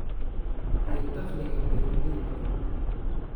iyo dakhliga beeraley badan.